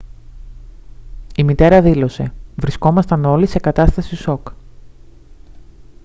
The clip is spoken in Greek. η μητέρα δήλωσε: «βρισκόμασταν όλοι σε κατάσταση σοκ»